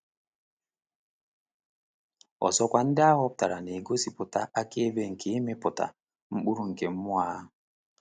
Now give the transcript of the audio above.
Ọzọkwa, ndị ahọpụtara na-egosipụta akaebe nke ịmịpụta mkpụrụ nke mmụọ ahụ.